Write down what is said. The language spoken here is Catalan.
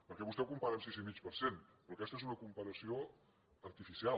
perquè vostè ho compara amb sis i mig per cent però aquesta és una comparació artificial